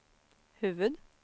huvud-